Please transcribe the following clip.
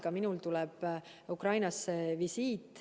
Ka minul tuleb visiit Ukrainasse.